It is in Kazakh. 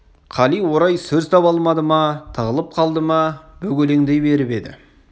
қали орай сөз таба алмады ма тығылып қалды ма бөгелеңдей беріп еді